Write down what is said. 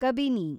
Kabini